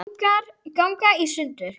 ganga í sundur